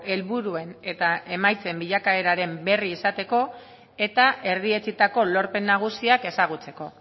helburuen eta emaitzen bilakaeraren berri izateko eta erdietsitako lorpen nagusiak ezagutzeko